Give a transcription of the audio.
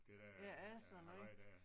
Det der øh halløj der